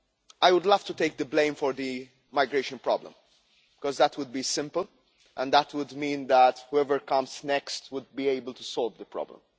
I would love to take the blame for the migration problem, because that would be simple and would mean that whoever comes next would be able to solve the problem.